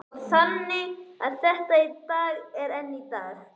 Og þannig er þetta enn í dag.